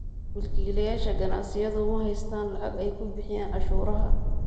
Milkiilayaasha ganacsiyadu ma haystaan ​​lacag ay ku bixiyaan cashuuraha.